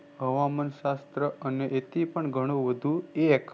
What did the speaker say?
હવામાનશાસ્ત્ર અને એથિપન ઘણુ AX